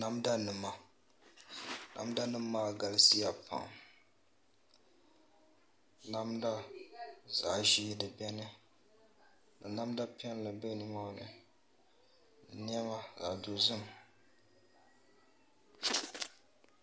Namda nima namda nim maa galisiya pam namdazaɣ ʒiɛ di biɛni ka namda piɛlli bɛ nimaani ni niɛma zaɣ dozim